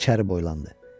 İçəri boylandı.